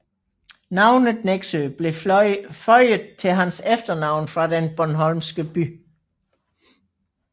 Navnet Nexø blev føjet til hans efternavn fra den bornholmske by